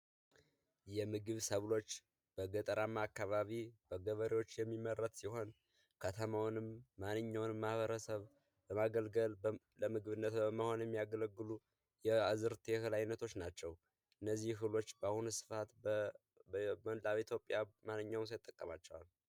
የምግብ ሰዎች በገጠር አማካባሪዎች የሚመረት ይሆን ከተማውንም ማንኛውን ማበረሰብአዊ መብት በመሆን የሚያገለግሉ አይነቶች ናቸው በአሁኑ ሰአት በሁሉም ኢትዮጵያ ማንኛውም ሰው ይጠቀማቸዋል